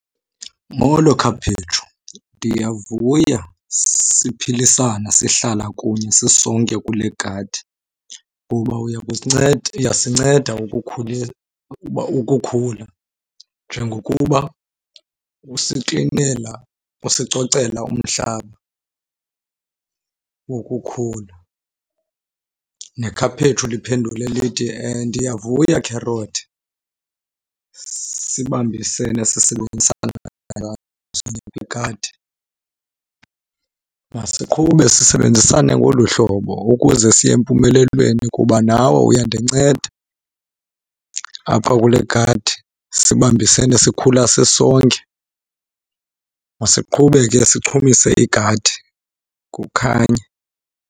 Molo khaphetshu, ndiyavuya siphilisana sihlala kunye sisonke kule gadi kuba uya kusinceda, uyasinceda uba ukukhula njengokuba usiklinela, usicocela umhlaba wokukhula. Nekhaphetshu liphendule lithi, ndiyavuya kherothi sibambisane sisebenzisana igadi. Masiqhube sisebenzisane ngolu hlobo ukuze siye empumelelweni kuba nawe uyandinceda apha kule gadi, sibambisane sikhula sisonke. Masiqhube ke sichumise igadi kukhanye.